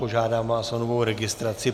Požádám vás o novou registraci.